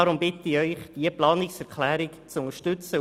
Deswegen bitte ich Sie, diese Planungserklärung zu unterstützen.